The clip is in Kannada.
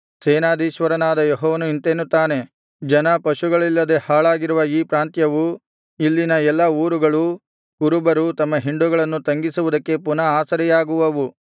ಸೇನಾಧೀಶ್ವರನಾದ ಯೆಹೋವನು ಇಂತೆನ್ನುತ್ತಾನೆ ಜನ ಪಶುಗಳಿಲ್ಲದೆ ಹಾಳಾಗಿರುವ ಈ ಪ್ರಾಂತ್ಯವೂ ಇಲ್ಲಿನ ಎಲ್ಲಾ ಊರುಗಳೂ ಕುರುಬರು ತಮ್ಮ ಹಿಂಡುಗಳನ್ನು ತಂಗಿಸುವುದಕ್ಕೆ ಪುನಃ ಆಸರೆಯಾಗುವವು